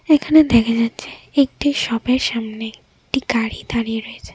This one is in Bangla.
এখানে দেখা যাচ্ছে একটি সপের সামনে একটি গাড়ি দাঁড়িয়ে রয়েছে।